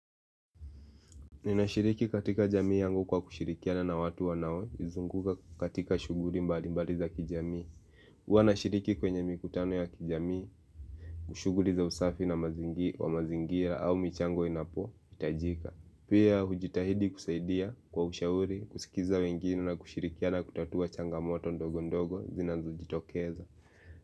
Ninashiriki katika jamii yangu kwa kushirikiana na watu wanao, nizunguka katika shughuli mbalimbali za kijamii huwa ninashiriki kwenye mikutano ya kijamii, kushughuli za usafi kwa mazingia au michango inapohitajika. Pia, hujitahidi kusaidia kwa ushauri, kusikiliza wengine na kushirikiana kutatua changamoto ndogo ndogo zinazojitokeza.